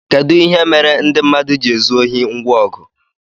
kedu ihe mere ndị mmadụ ji na-ezu ohi ngwa ọgụ